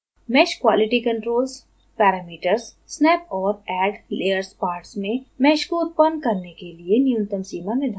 meshqualitycontrols parameters snap और addlayers parts में mesh को उत्पन्न करने के लिए न्यूनतम सीमा निर्धारित करता है